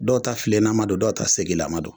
Dɔw ta filenama don dɔw ta segilama don